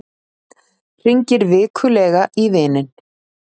Hringir vikulega í vininn